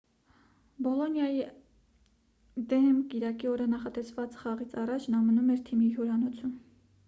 բոլոնիայիա դեմ կիրակի օրը նախատեսված խաղից առաջ նա մնում էր թիմի հյուրանոցում